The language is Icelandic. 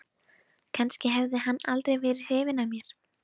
Kannski hafði hann aldrei verið hrifinn af mér.